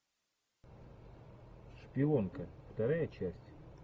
шпионка вторая часть